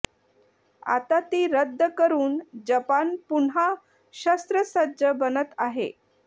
आता ती रद्द करून जपान पुन्हा शस्त्रसज्ज बनत आहे